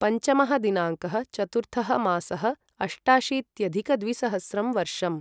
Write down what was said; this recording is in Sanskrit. पञ्चमः दिनाङ्कः चतुर्थः मासः अष्टाशीत्यधिकद्विसहस्रं वर्षम्